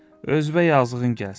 Özünə yazığın gəlsin.